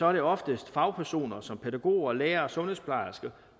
er det oftest fagpersoner som pædagoger lærere og sundhedsplejersker